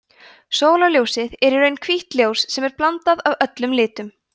sólarljósið er í raun hvítt ljós sem er blanda af öllum litum